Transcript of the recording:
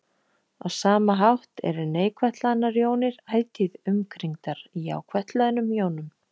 Á sama hátt eru neikvætt hlaðnar jónir ætíð umkringdar jákvætt hlöðnum jónum.